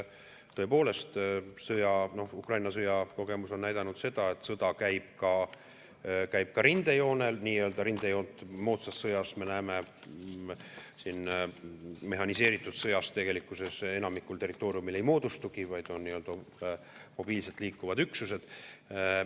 Tõepoolest, Ukraina sõja kogemus on näidanud seda, et sõda rindejoonel – nii-öelda rindejoont moodsas sõjas, me näeme, mehhaniseeritud sõjas tegelikkuses enamikul territooriumil ei moodustugi, vaid on mobiilselt liikuvad üksused.